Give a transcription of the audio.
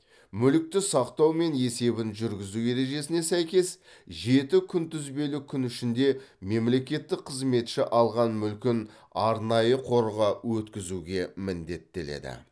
мүлікті сақтау мен есебін жүргізу ережесіне сәйкес жеті күнтізбелік күн ішінде мемлекеттік қызметші алған мүлкін арнайы қорға өткізуге міндеттеледі